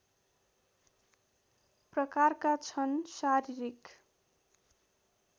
प्रकारका छन् शारीरिक